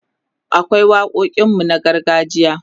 akwai waƙoƙin mu na gargajiya